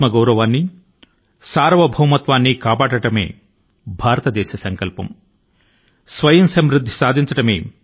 దేశ గౌరవాన్ని మరియు సార్వభౌమత్వాన్ని పరిరక్షించుకోవడమే భారతదేశం యొక్క గంభీరమైన సంకల్పం